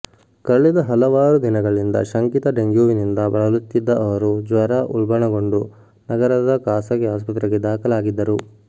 ಕಳೆದ ಹಲವಾರು ದಿನಗಳಿಂದ ಶಂಕಿತ ಡೆಂಗ್ಯೂವಿನಿಂದ ಬಳಲುತ್ತಿದ್ದ ಅವರು ಜ್ವರ ಉಲ್ಬಣಗೊಂಡು ನಗರದ ಖಾಸಗಿ ಆಸ್ಪತ್ರೆಗೆ ದಾಖಲಾಗಿದ್ದರು